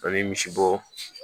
An bɛ misibo